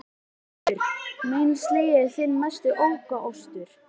GRÍMUR: Meinleysið er þinn mesti ókostur.